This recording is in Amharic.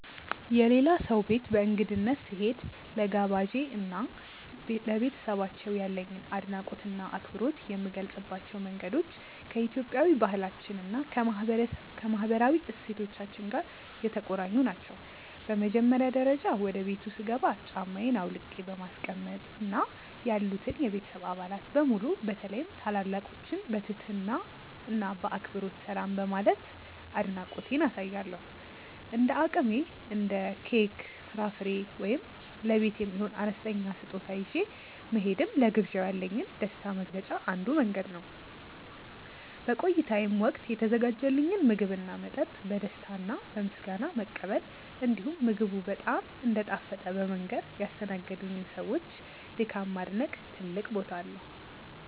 የሌላ ሰው ቤት በእንግድነት ስሄድ፣ ለጋባዤ እና ለቤተሰባቸው ያለኝን አድናቆትና አክብሮት የምገልጽባቸው መንገዶች ከኢትዮጵያዊ ባህላችን እና ከማህበራዊ እሴቶቻችን ጋር የተቆራኙ ናቸው። በመጀመሪያ ደረጃ፣ ወደ ቤቱ ስገባ ጫማዬን አውልቄ በማስቀመጥ እና ያሉትን የቤተሰብ አባላት በሙሉ በተለይም ታላላቆችን በትህትና እና በአክብሮት ሰላም በማለት አድናቆቴን አሳያለሁ። እንደ አቅሜ እንደ ኬክ፣ ፍራፍሬ ወይም ለቤት የሚሆን አነስተኛ ስጦታ ይዤ መሄድም ለግብዣው ያለኝን ደስታ መግለጫ አንዱ መንገድ ነው። በቆይታዬም ወቅት የተዘጋጀልኝን ምግብና መጠጥ በደስታ እና በምስጋና መቀበል፣ እንዲሁም ምግቡ በጣም እንደጣፈጠ በመንገር ያስተናገዱኝን ሰዎች ድካም ማድነቅ ትልቅ ቦታ አለው።